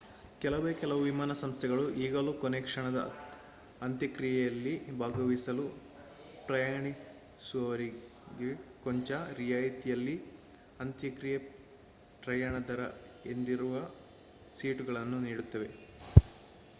ಕೆಲವೇ ಕೆಲವು ವಿಮಾನ ಸಂಸ್ಥೆಗಳು ಈಗಲೂ ಕೊನೆಕ್ಷಣದ ಅಂತ್ಯಕ್ರಿಯೆಯಲ್ಲಿ ಭಾಗವಹಿಸಲು ಪ್ರಯಾಣಿಸುವವರಿಗೆ ಕೊಂಚ ರಿಯಾಯತಿಯಲ್ಲಿ ಅಂತ್ಯಕ್ರಿಯ ಪ್ರಯಾಣ ದರ ಎಂದಿರುವ ಸೀಟುಗಳನ್ನು ನೀಡುತ್ತಾರೆ